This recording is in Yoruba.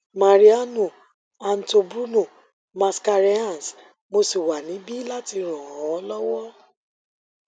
mariano anto bruno mascarenhas mo sì wà nibi lati ran ọ lọwọ